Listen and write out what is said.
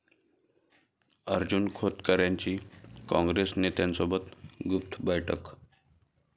अर्जुन खोतकरांची काँग्रेस नेत्यासोबत गुप्त बैठक